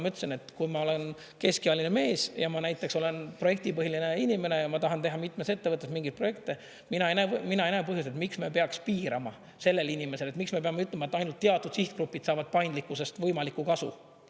Ma ütlesin, et kui ma olen keskealine mees ja ma näiteks olen projektipõhine inimene ja ma tahan teha mitmes ettevõttes mingeid projekte, mina ei näe põhjust, miks me peaks piirama sellel inimesel, miks me peame ütlema, et ainult teatud sihtgrupid saavad paindlikkusest võimalikku kasu.